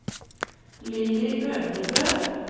Lilly Øvrebø